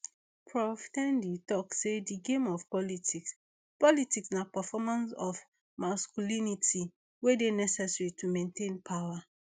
prof ten di tok say di game of politics politics na performance of masculinity wey dey necessary to maintain power